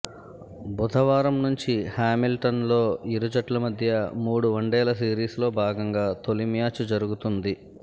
బుధవారం నుంచి హామిల్టన్లో ఇరుజట్ల మధ్య మూడు వన్డేల సిరీస్లో భాగంగా తొలి మ్యాచ్ జరుగుతుంది